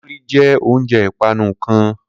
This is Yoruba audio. Kulikuli jẹ ounjẹ ipanu kan